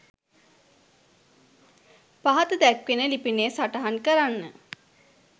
පහත දැක්වෙන ලිපිනය සටහන් කරන්න.